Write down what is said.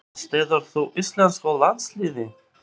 Eða styður þú íslensku landsliðin?